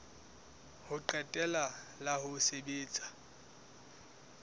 ho qetela la ho sebetsa